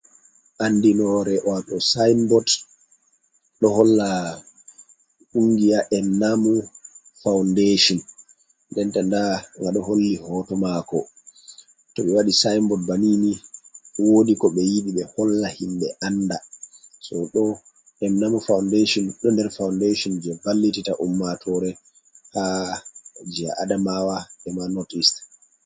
Andi nore wato sinbord ɗo holla kungiya en namu faundation denta nda ngaɗo holli hoto mako, to ɓe wadi sinbod banini wodi ko ɓe yidi be holla himɓe anda, so ɗo ennamu faundation ɗo nder faundation je vallitita ummatore ha je adamawa ema not east.